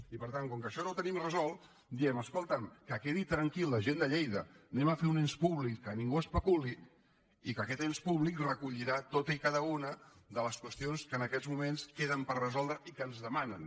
i per tant com que això no ho tenim resolt diem escolta’m que quedi tranquil·la la gent de lleida farem un ens públic que ningú especuli i aquest ens públic recollirà totes i cada una de les qüestions que en aquests moments queden per resoldre i que ens demanen